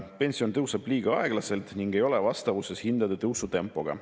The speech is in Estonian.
Pension tõuseb liiga aeglaselt ning ei ole vastavuses hindade tõusu tempoga.